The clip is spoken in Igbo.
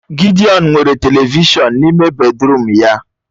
Gidiọn nwere televishọn n'ime bedịrum ya